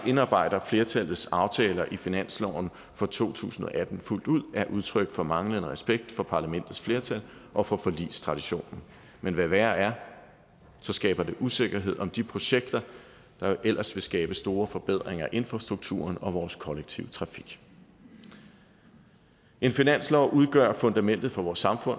indarbejder flertallets aftaler i finansloven for to tusind og atten fuldt ud er udtryk for manglende respekt for parlamentets flertal og for forligstraditionen men hvad værre er så skaber det usikkerhed om de projekter der ellers vil skabe store forbedringer af infrastrukturen og vores kollektive trafik en finanslov udgør fundamentet for vores samfund